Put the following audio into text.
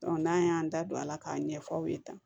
n'an y'an da don a la k'a ɲɛf'aw ye tan